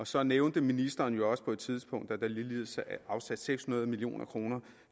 så nævnte ministeren jo også på et tidspunkt at der ligeledes er afsat seks hundrede million kroner